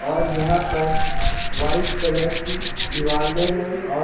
और यहां पर व्हाइट कलर की दीवाले हैं और--